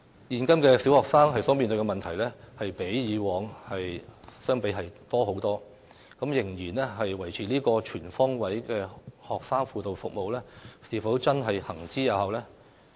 現今小學生所面對的問題較往昔為多，仍然維持"全方位學生輔導服務"是否真的有效？